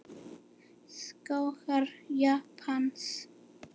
Skógar Japans